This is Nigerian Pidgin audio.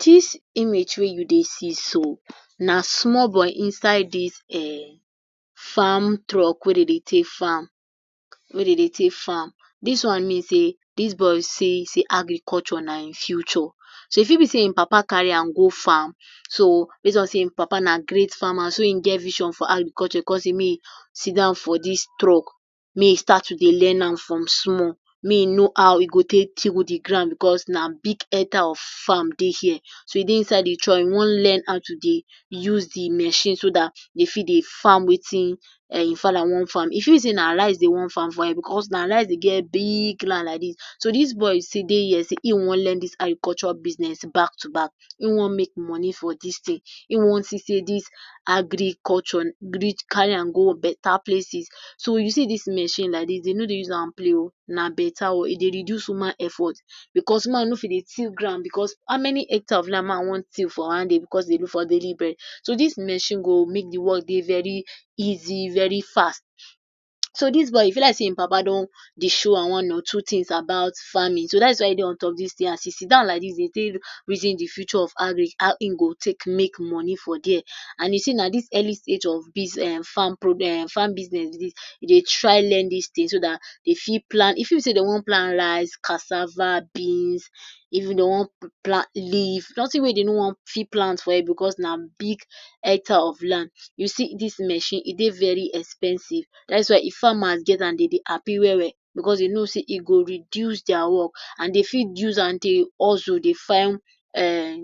Dis image wey you dey see so na small boy inside dis um farm truck wey dey dey take farm wey dey dey take farm. Dis one mean sey dis boy see sey Agriculture na im future. So e fit be sey in papa carry am go farm so base on sey in papa na great farmer so in get vision for Agriculture con sey may e sidon for dis truck may e start to dey learn am from small may e know how e go take till di ground because na big hectare of farm dey here so e dey inside de truck e want learn how to dey use de machine so dat e fit dey farm wetin in father want farm. E fit reason na rice dey want farm for here because na rice dey get big land like dis. So dis boy still dey here sey in want learn dis Agriculture business back to back, in want make money for dis thing, in want see sey dis Agriculture reach carry am go beta places. So you see dis machine like dis, dey no dey use am play oo na beta one e dey reduce human effort because man no fit dey till ground because how many hectares of land man want till for one day because e dey look for our daily bread. So dis machine dey make de work very easy very fast. So dis boy e be like sey in papa don de show am one or two things about farming, so dat is why e dey on top dis thing as e dey sidon like dis dey take reason d future of agric how in go take make money for dia. And you see na dis early stage of dis[um] farm um farm business dey try learn dis thing so dat e fit plant e fit be sey dey want plant rice, cassava, beans, even dey want plant leaf nothing wey dey no want fit plant for here because na big hectare of land. you see, dis machine e dey very expensive, dat’s why if farmers get am dey dey happy well well beause dey know sey e go reduce dia work and dey fit use am dey hustle dey find um